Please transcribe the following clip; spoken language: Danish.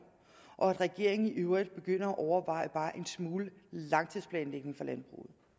og at regeringen i øvrigt begynder at overveje bare en smule langtidsplanlægning